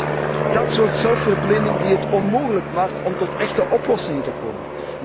En het is juist dat soort zelfverblinding die het onmogelijk maakt om tot echte oplossingen te komen.